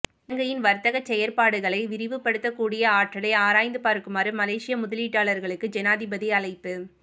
இலங்கையின் வர்த்தக செயற்பாடுகளை விரிவுபடுத்தக்கூடிய ஆற்றலை ஆராய்ந்து பார்க்குமாறு மலேசிய முதலீட்டாளர்களுக்கு ஜனாதிபதி அழைப்பு